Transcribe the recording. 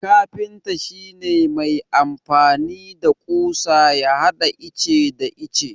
Kafinta shi ne mai amfani da ƙusa ya hada ice da ice.